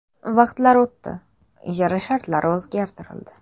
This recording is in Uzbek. Vaqtlar o‘tdi, ijara shartlari o‘zgartirildi.